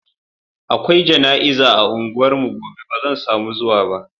Akwai jana'iza a unguwarmu gobe ba zan samu zuwa ba.